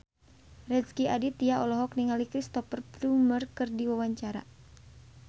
Rezky Aditya olohok ningali Cristhoper Plumer keur diwawancara